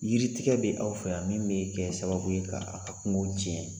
Yiritigɛ bɛ aw fɛ yan min bee kɛ sababu ye ka a' ka kungow tiɲɛ.